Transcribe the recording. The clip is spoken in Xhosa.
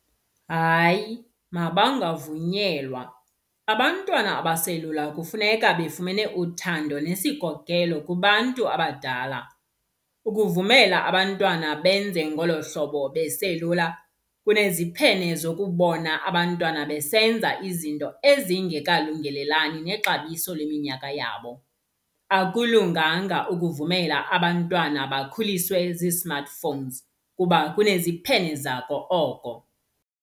Hayi, mabangavunyelwa, abantwana abaselula kufuneka befumene uthando nesikokelo kubantu abadala. Ukuvumela abantwana benze ngolo hlobo beselula kuneziphene zokubona abantwana besenza izinto ezingekalungelelani nexabiso leminyaka yabo. Akulunganga ukuvumela abantwana bakhuliswe zi-smartphones kuba kuneziphene zako oko.